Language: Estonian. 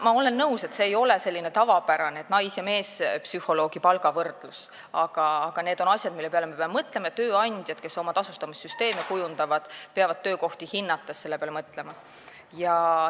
Ma olen nõus, et nais- ja meespsühholoogi palga võrdlus ei ole tavapärane näide, aga need on asjad, mille peale me peame mõtlema, ja tööandjad, kes tasustamissüsteeme kujundavad, peavad töökohti hinnates selle peale mõtlema.